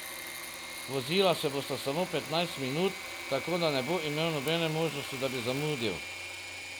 Vozila se bosta samo petnajst minut, tako da ne bo imel nobene možnosti, da bi zamudil.